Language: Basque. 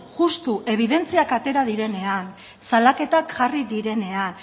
justu ebidentziak atera direnean salaketak jarri direnean